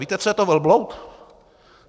Víte, co je to velbloud?